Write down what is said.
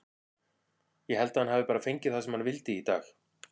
Ég held að hann hafi bara fengið það sem hann vildi í dag.